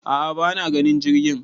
a'a bana ganin jirgin